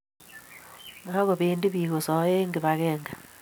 makobendi piik kosoe eng' kibakeng'e